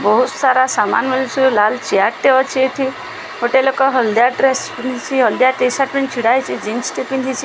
ବହୁତ ସାରା ସାମାନ ମିଳୁଛି ଲାଲ ଚେୟାର ଟେ ଅଛି ଏଠି ଗୋଟେ ଲୋକ ହଳଦିଆ ଡ୍ରେସ ପିନ୍ଧିଚି ହଳଦିଆ ଟି ଶାର୍ଟ ପିନ୍ଧି ଛିଡା ହେଇଚି ଜିନ୍ସ ଟେ ପିନ୍ଧିଚି ।